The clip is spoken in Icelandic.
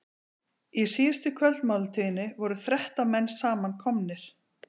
Í síðustu kvöldmáltíðinni voru þrettán menn samankomnir.